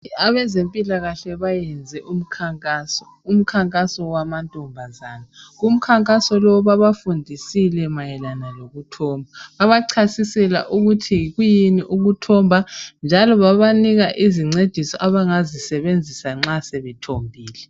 Abezempilakahle bayenze umkhankaso. Umkhankaso wamantombazane, kumkhankaso lowu babafundisile mayelana lokuthomba. Babachasisela ukuthi kuyini ukuthomba njalo babanika izincediso abangazisebenzisa nxa sebethombile.